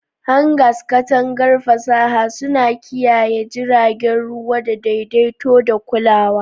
Hangars, katangar fasaha, suna kiyaye jiragen ruwa da daidaito da kulawa.